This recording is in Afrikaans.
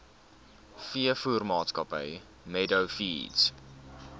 veevoermaatskappy meadow feeds